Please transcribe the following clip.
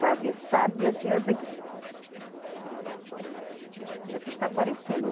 Para alguém saber, a senhora tem que. É o que está aparecendo